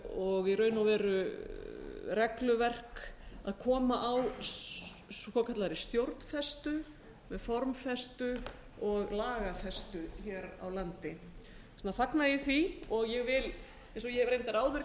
og í raun og veru regluverk að koma á svokallaðri stjórnfestu formfestu og lagafestu hér á landi þess vegna fagna ég því og ég vil eins og ég hef reyndar áður